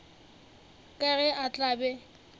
ka ge a tla be